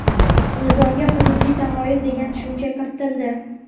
Nizomga hududiy tamoyil degan tushuncha kiritildi.